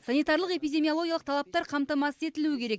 санитарлық эпидемиологиялық талаптар қамтамасыз етілуі керек